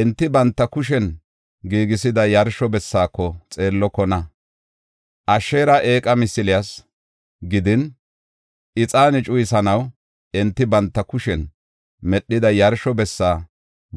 Enti banta kushen giigisida yarsho bessaako xeellokona; Asheera eeqa misiliyas gidin, ixaane cuyisanaw enti banta kushen medhida yarsho bessa